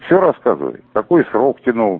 все рассказывай какой срок тянул